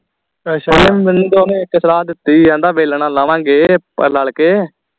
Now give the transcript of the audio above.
ਓਹਨੇ ਮੈਨੂੰ ਇਕ ਸਲਾਹ ਦਿਤੀ ਆ ਆਂਦਾ ਵੇਲਣਾ ਲਾ ਲਾ ਗੇ ਰਲ ਕੇ